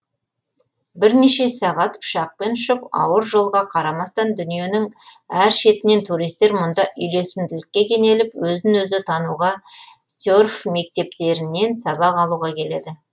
бірнеше сағат ұшақпен ұшып ауыр жолға қарамастан дүниенің әр шетінен туристер мұнда үйлесімділікке кенеліп өзін өзі тануға серф мектептерінен сабақ алуға келеді